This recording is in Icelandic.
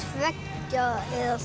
tveggja eða